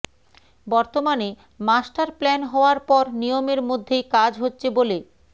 বর্তমানে মাস্টারপ্ল্যান হওয়ার পর নিয়মের মধ্যেই কাজ হচ্ছে বলে